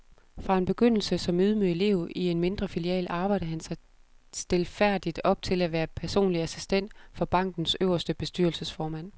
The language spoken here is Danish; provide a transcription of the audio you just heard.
Fra en begyndelse som ydmyg elev i en mindre filial arbejdede han sig stilfærdigt op til at være personlig assistent for bankens øverste bestyrelsesformand.